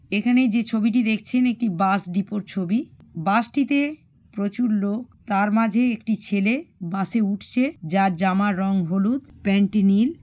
এখানেই যে ছবিটি দেখছেন একটি বাস ডিপো -এর ছবি। বাস -টিতে প্রচুর লোক তার মাঝে একটি ছেলে বাস -এ উঠছে যার জামার রং হলুদ প্যান্ট -টি নীল।